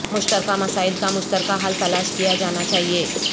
مشترکہ مسائل کا مشترکہ حل تلاش کیا جانا چاہیے